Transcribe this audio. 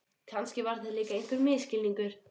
Kannski var þetta líka einhver misskilningur.